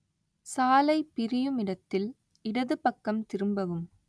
சாலை பிரியும் இடத்தில் இடதுபக்கம் திரும்பவும்